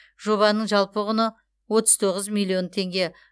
жобаның жалпы құны отыз тоғыз миллион теңге